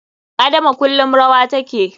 Adama kullum rawa take.